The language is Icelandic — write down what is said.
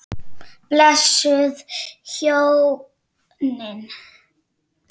Blessuð hjónin.